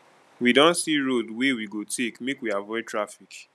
we don see road wey we go take make we avoid traffic